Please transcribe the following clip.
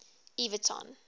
everton